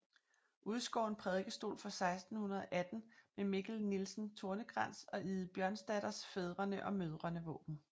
Udskåren prædikestol fra 1618 med Mikkel Nielsen Tornekrans og Ide Bjørnsdatters fædrene og mødrene våben